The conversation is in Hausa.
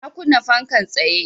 Na kunna fankan tsaye